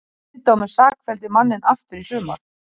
Kviðdómur sakfelldi manninn aftur í sumar